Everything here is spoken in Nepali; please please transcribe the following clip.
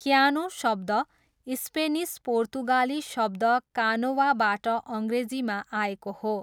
क्यानो शब्द स्पेनिस पोर्तुगाली शब्द कानोवाबाट अङ्ग्रेजीमा आएको हो।